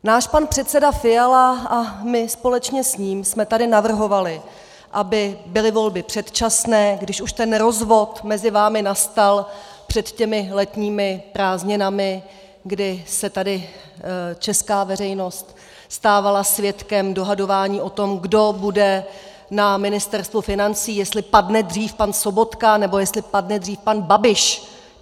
Náš pan předseda Fiala a my společně s ním jsme tady navrhovali, aby byly volby předčasné, když už ten rozvod mezi vámi nastal před těmi letními prázdninami, kdy se tady česká veřejnost stávala svědkem dohadování o tom, kdo bude na Ministerstvu financí, jestli padne dřív pan Sobotka, nebo jestli padne dřív pan Babiš.